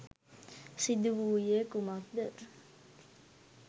සිදු වූයේ කුමක්ද?